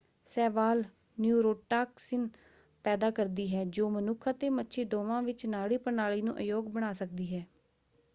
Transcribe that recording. ਸ਼ੈਵਾਲ neurotoxin ਪੈਦਾ ਕਰਦੀ ਹੈ ਜੋ ਮਨੁੱਖ ਅਤੇ ਮੱਛੀ ਦੋਵਾਂ ਵਿੱਚ ਨਾੜੀ ਪ੍ਰਣਾਲੀ ਨੂੰ ਅਯੋਗ ਬਣਾ ਸਕਦੀ ਹੈ।